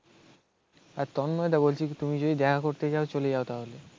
আর তন্ময়দা বলছি কি তুমি যদি দেখা করতে চাও চলে যাও তাহলে.